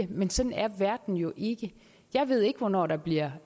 dem men sådan er verden jo ikke jeg ved ikke hvornår der bliver